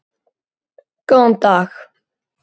Það mátti ekki gerast.